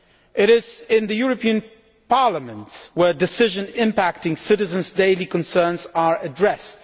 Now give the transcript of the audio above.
It is in the European Parliament where decisions impacting citizens' daily concerns are addressed.